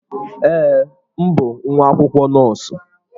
Ee, m bụ nwa akwụkwọ nọọsụ.